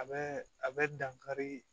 A bɛ a bɛ dankari